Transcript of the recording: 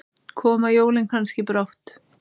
Koma jólin kannski brátt?